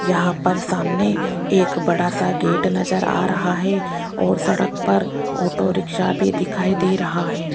यहां पर सामने एक बड़ा सा गेट नजर आ रहा है और सड़क पर ऑटो रिक्शा भी दिखाई दे रहा है।